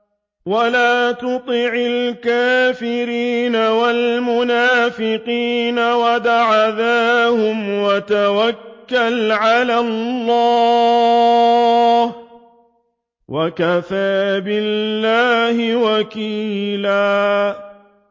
وَلَا تُطِعِ الْكَافِرِينَ وَالْمُنَافِقِينَ وَدَعْ أَذَاهُمْ وَتَوَكَّلْ عَلَى اللَّهِ ۚ وَكَفَىٰ بِاللَّهِ وَكِيلًا